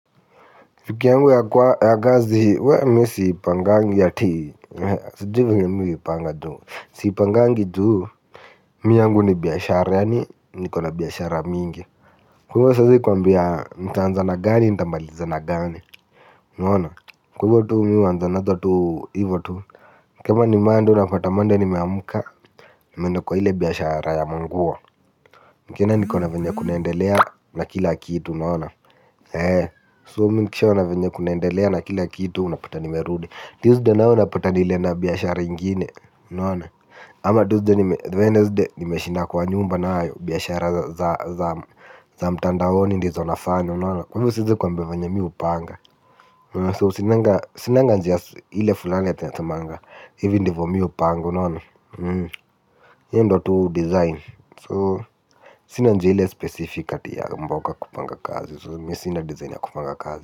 Fiki yangu ya kwa ya gazi we me si pangangi ya ti. Siju vini mi upanga juhu. Si pangangi juu. Mi yangu ni biyashara ya ni nikona biyashara mingi wewe siezi kwambia ntanzana gani ntambalizana gani. Naona wewe tu mi huwa ntanzana tu hivotu. Kama ni monday una pata monday nimeamuka nimenda kwa hile biyashara ya munguo. Mkienda nikaona venye kunaendelea na kila kitu unaona So kisha wanavendia kunaendelea na kila kitu unapata nimerudi tuesday nao unapata nile na biashara ingine. Ama tuesday nimeshi nime shinda kwa nyumba na ayo biashara za mtanda honi ndi zonafani. Kwa hivyo size kwambewa nye miupanga So sinanga njia hile fulani ya te nasemanga. Hivyo ndivyo miupanga Yo ndo tu design So sina njia hile specific ati ya mboka kupanga kazi Mi sina design ya kupanga kazi.